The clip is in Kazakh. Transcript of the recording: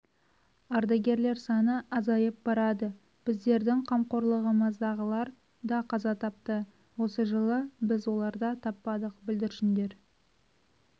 ардагерлер саны азайып барады біздердің қамқорлығымыздағылар да қаза тапты осы жылы біз оларда таппадық бүлдіршіндер